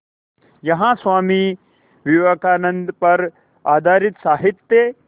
यहाँ स्वामी विवेकानंद पर आधारित साहित्य